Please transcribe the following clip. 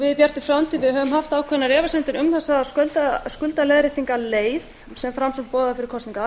við í bjartri framtíð höfum haft ákveðnar efasemdir um þessa skuldaleiðréttingarleið sem framsókn boðaði fyrir kosningar